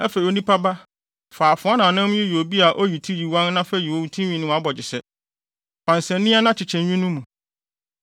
“Afei onipa ba, fa afoa nnamnam yi yɛ sɛ obi a oyi ti oyiwan na fa yi wo tinwi ne wʼabogyesɛ. Fa nsania na kyekyɛ nwi no mu.